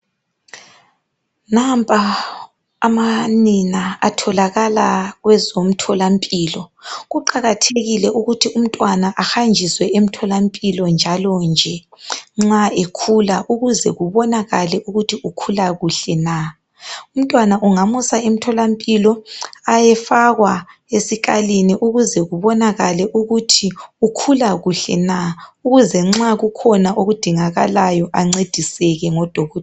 Nampa amanina atholakala kwezomtholampilo. Kuqakathekile ukuthi umntwana ahanjiswe emtholampilo njalo nje nxa ekhula ukuze kubonakale ukuthi ukhula kuhle na. Umntwana ungamusa emtholampilo ayefakwa esikalini ukuze kubonakale ukuthi ukhula kuhle na ukuze nxa kukhona okudingakalayo ancediseke ngodokotela.